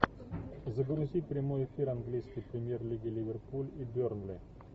загрузи прямой эфир английской премьер лиги ливерпуль и бернли